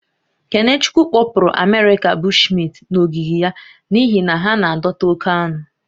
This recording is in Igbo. Kenechukwu kpopuru Amerịka Bushmint n'ogige ya n'ihi na ha na-adọta oke aṅụ